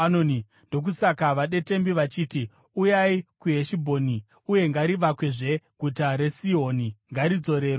Ndokusaka vadetembi vachiti: “Uyai kuHeshibhoni uye ngarivakwezve; guta raSihoni ngaridzorerwezve.